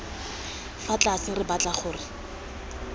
fa tlase re batla gore